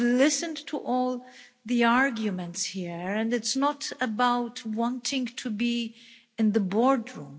I've listened to all the arguments here, and it's not about wanting to be in the boardroom.